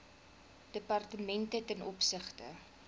departemente ten opsigte